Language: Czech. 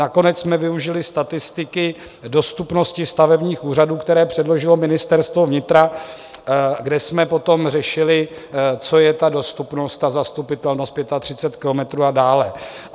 Nakonec jsme využili statistiky dostupnosti stavebních úřadů, které předložilo Ministerstvo vnitra, kde jsme potom řešili, co je ta dostupnost a zastupitelnost 35 kilometrů a dále.